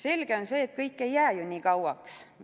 Selge on see, et kõik ei jää kooli ju nii kauaks.